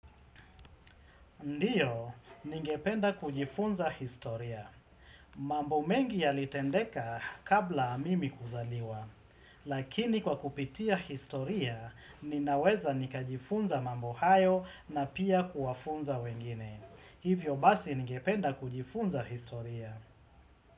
Ndiyo, ningependa kujifunza historia. Mambo mengi yalitendeka kabla mimi kuzaliwa. Lakini kwa kupitia historia, ninaweza nikajifunza mambo hayo na pia kuwafunza wengine. Hivyo basi ningependa kujifunza historia.